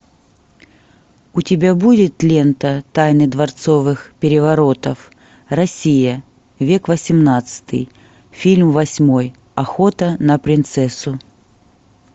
у тебя будет лента тайны дворцовых переворотов россия век восемнадцатый фильм восьмой охота на принцессу